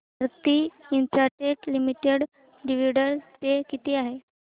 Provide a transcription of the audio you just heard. Bharti Infratel Limited dividend pay किती आहे